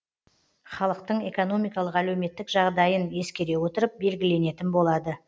халықтың экономикалық әлеуметтік жағдайын ескере отырып белгіленетін болады